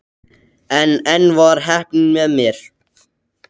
En enn var heppnin með mér.